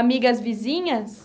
Amigas vizinhas?